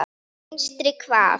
Vinstri hvað?